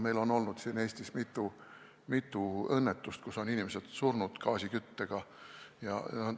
Meil on Eestis olnud mitu õnnetust, kus on inimesed surnud gaasiküttega hoones.